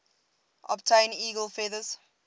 obtain eagle feathers